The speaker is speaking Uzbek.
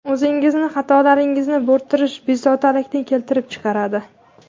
O‘zingizning xatolaringizni bo‘rttirish bezovtalikni keltirib chiqaradi.